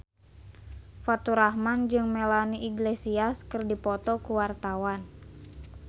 Faturrahman jeung Melanie Iglesias keur dipoto ku wartawan